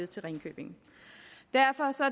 til ringkøbing derfor